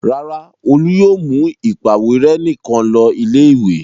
Rárá, Olú yóò mú ìpàwérẹ́ nìkan lọ ilé-ìwé.